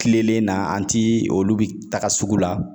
Kilelen na an ti olu bi taga sugu la